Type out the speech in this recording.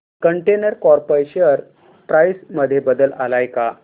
container corp share price मध्ये बदल आलाय का